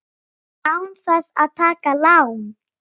Án þess að taka lán!